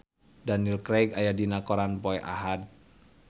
Daniel Craig aya dina koran poe Ahad